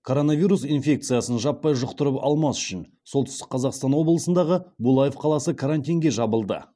коронавирус инфекциясын жаппай жұқтырып алмас үшін солтүстік қазақстан облысындағы булаев қаласы карантинге жабылды